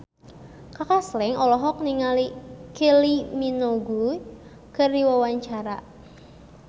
Kaka Slank olohok ningali Kylie Minogue keur diwawancara